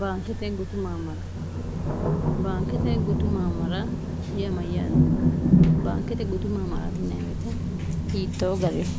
bgmbaankete gutu maammara yiamayyaate baankete gutu maamaratiewte hiittoo gariho